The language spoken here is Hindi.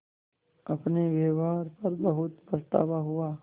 अपने व्यवहार पर बहुत पछतावा हुआ